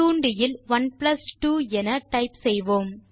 தூண்டியில் 12 என டைப் செய்வோம்